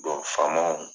faamaw